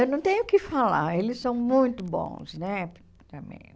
Eu não tenho o que falar, eles são muito bons, né?